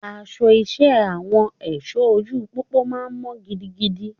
Aṣọ iṣẹ́ Àwọn èṣọ ojú pópó máa mọ́ gidigidi.